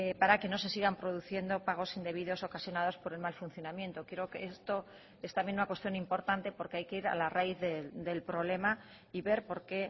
para que no se sigan produciendo pagos indebidos ocasionados por el mal funcionamiento creo que esto es también una cuestión importante porque hay que ir a la raíz del problema y ver por qué